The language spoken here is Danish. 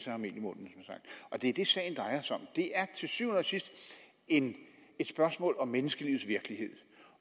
have mel i munden og det er det sagen drejer sig om det er til syvende og sidst et spørgsmål om menneskelivets virkelighed